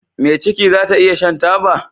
Me ciki zata iya Shan taba